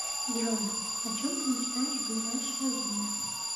джой о чем ты мечтаешь в ближайшее время